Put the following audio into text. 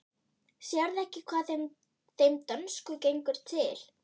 Sérðu ekki hvað þeim dönsku gengur til?